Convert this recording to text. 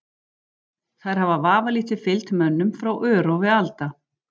Þær hafa vafalítið fylgt mönnum frá örófi alda.